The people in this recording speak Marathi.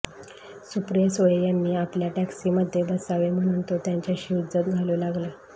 सुप्रिया सुळे यांनी आपल्या टॅक्सीमध्ये बसावे म्हणून तो त्यांच्याशी हुज्जत घालू लागला